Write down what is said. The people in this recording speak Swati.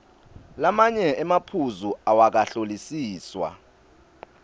lamanye emaphuzu awakahlolisiswa